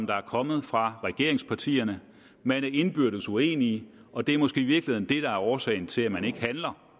der er kommet fra regeringspartierne man er indbyrdes uenige og det er måske i virkeligheden det der er årsagen til at man ikke handler